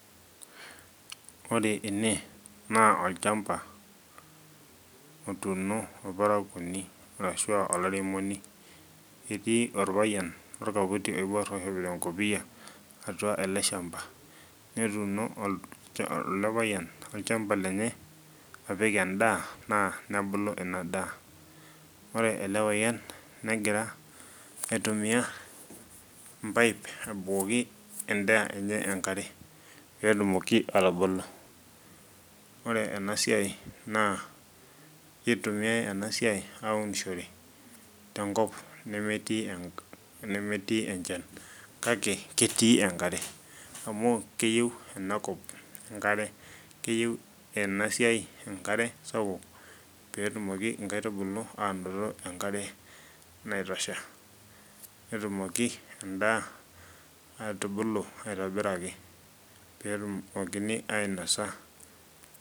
Ore ene naa olchamba otuuno ilparakoni arashu olairemoni, etii olpayan le nkoti naibuar eichopito enkopia atua ale ilshamba, netuno ale payen ilchamba lenye apik endaa naa nebulu ena daa, ore ale payen negira aitumiya, impaip abukoki indaa enye enkare peetumoki atubulu. Ore ena siai naa keitumiyai ena siai aunishore te nkop nemetii enchan, kake ketii enkare amuu keyeu enakop inkare, keyeu ena siai enkare sapuk peetumoki nkaitubulu aanoto enkare naitosha, netumoki indaa atubulu aitobiraki peetumokini ainosa.